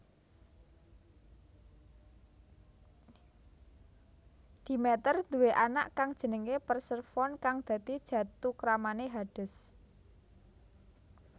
Demeter duwé anak kang jenenge Persefone kang dadi jathukramane Hades